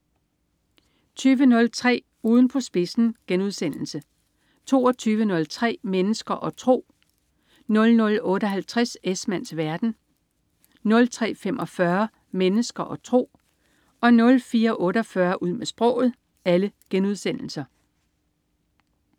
20.03 Ugen på spidsen* 22.03 Mennesker og tro* 00.58 Esmanns verden* 03.45 Mennesker og tro* 04.48 Ud med sproget*